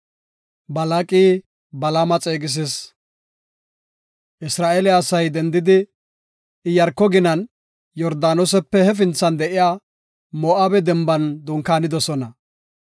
Isra7eele asay dendidi, Iyaarko ginan, Yordaanosepe hefinthan de7iya Moo7abe denban dunkaanidosona.